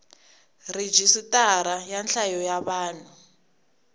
rhijisitara ra nhlayo ya vanhu